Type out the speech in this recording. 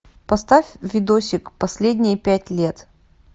поставь видосик последние пять лет